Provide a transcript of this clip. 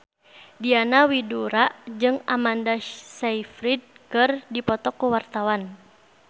Diana Widoera jeung Amanda Sayfried keur dipoto ku wartawan